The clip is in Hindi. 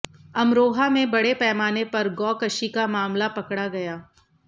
अमरोहा में बड़े पैमाने पर गोकशी का मामला पकड़ा गया